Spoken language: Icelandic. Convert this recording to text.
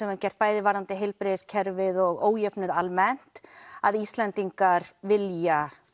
höfum gert bæði varðandi heilbrigðiskerfið og ójöfnuð almennt að Íslendingar vilja